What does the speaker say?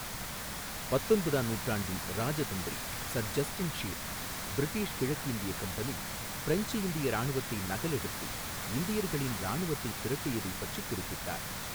பத்தொன்பதாம் நூற்றாண்டின் இராஜதந்திரி சர் ஜஸ்டின் ஷீல், பிரிட்டிஷ் கிழக்கிந்திய கம்பெனி பிரெஞ்சு இந்திய இராணுவத்தை நகலெடுத்து இந்தியர்களின் இராணுவத்தை திரட்டியதைப் பற்றிக் குறிப்பிட்டார்.